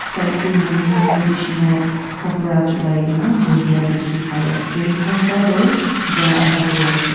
side te manuhan traditional kapara chulai kena buhia dikhi pai ase kunba toh ja aha kure ase.